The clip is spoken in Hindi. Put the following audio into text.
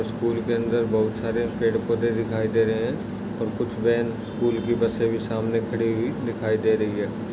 स्कूल के अंदर बहुत सारे पेड़ पोदे दिखाई दे रहे है। और कुछ व्यान स्कूल की बसे भी सामने खड़ी हुई दिखाई दे रही है।